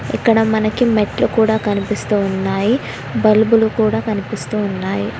ఇక్కడ మనకి మెట్లు కూడా కనిపిస్తూ ఉన్నాయి బల్బులు కూడా కనిపిస్తూ ఉన్నాయి.